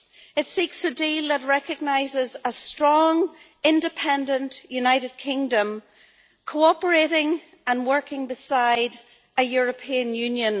It seeks a deal that recognises a strong, independent United Kingdom, cooperating and working beside a European Union.